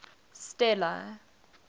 stella